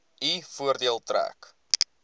u voordeel trek